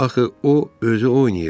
Axı o özü oynayırdı.